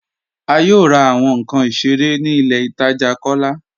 A yóò rà awọn nkàn ìṣẹ̀rẹ̀ ní ilẹ̀ ìtaja Kọlá